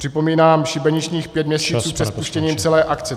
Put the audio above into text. Připomínám šibeničních pět měsíců před spuštěním celé akce.